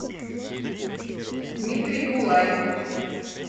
дмитрий булай